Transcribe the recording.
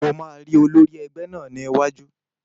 Mo máa rí olórí ẹgbẹ́ náà ní iwájú